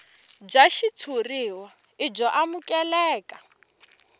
bya xitshuriwa i byo amukeleka